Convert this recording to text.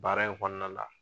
Baara in kɔnɔna la.